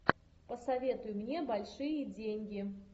посоветуй мне большие деньги